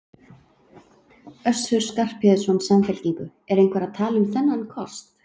Össur Skarphéðinsson, Samfylkingu: Er einhver að tala um þennan kost?